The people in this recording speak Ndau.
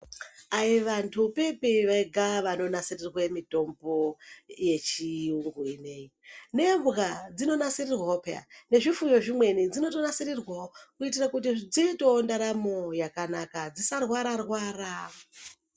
Hai vantu pipi vega vanonasirirwe mitombo yechiyungu ine iyi. Nembwa dzinonasirirwawo phiya. Nezvifuyo zvimwewo, dzinotonasirirwawo kuitira kuti dziitewo ndaramo yakanaka dzisarwara-rwara.